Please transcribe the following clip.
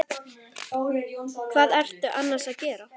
Hvað ertu annars að gera?